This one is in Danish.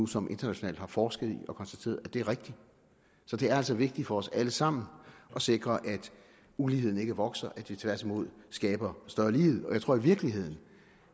som internationalt har forsket i og konstateret er rigtigt så det er altså vigtigt for os alle sammen at sikre at uligheden ikke vokser at vi tværtimod skaber større lighed og jeg tror i virkeligheden